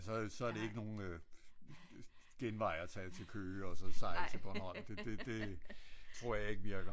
Så så er det ikke nogen genvej at tage til Køge og så sejle til Bornholm det det tror jeg ikke virker